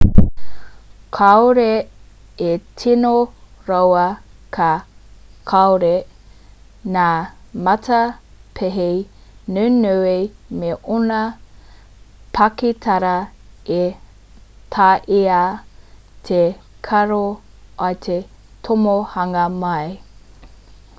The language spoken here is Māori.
kaore e tino roa ka kore ngā matapihi nunui me ōna pakitara e taea te karo i te tomokanga mai